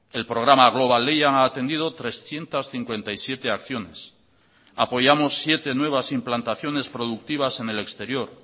el programa global lehian ha atendido trescientos cincuenta y siete acciones apoyamos siete nuevas implantaciones productivas en el exterior